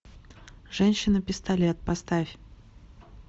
женщина пистолет поставь